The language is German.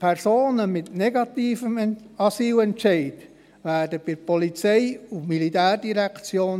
Personen mit negativem Asylentscheid werden bei der POM sein.